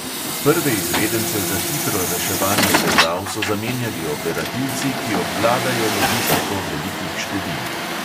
Prve izvedence za hitro reševanje težav so zamenjali operativci, ki obvladajo logistiko velikih števil.